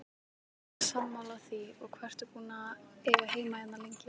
Sammála því, og hvað ertu búinn að eiga heima hérna lengi?